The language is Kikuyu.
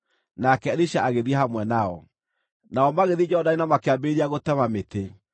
Nake Elisha agĩthiĩ hamwe nao. Nao magĩthiĩ Jorodani na makĩambĩrĩria gũtema mĩtĩ.